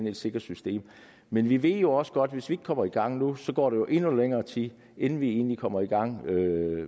et sikkert system men vi ved jo også godt at hvis vi ikke kommer i gang nu går der endnu længere tid inden vi egentlig kommer i gang